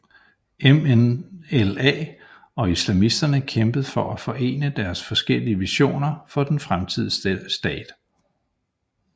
MNLA og islamisterne kæmpede for at forene deres forskellige visioner for den fremtidige stat